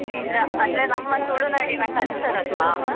ನಿಜ ಅಂದ್ರೆ ನಮ್ಮ ತುಳುನಾಡಿನ culture ಅಲ್ವ.